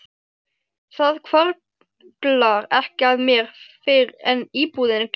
Það hvarflar ekki að mér fyrr en íbúðin gljáir.